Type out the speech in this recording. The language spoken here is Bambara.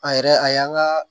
A yɛrɛ a y'an ka